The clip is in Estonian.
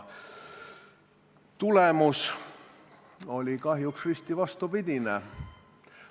Mulje oli kahjuks risti vastupidine.